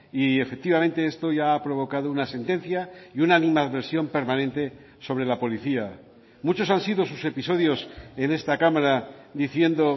y efectivamente esto ya ha provocado una sentencia y una animadversión permanente sobre la policía muchos han sido sus episodios en esta cámara diciendo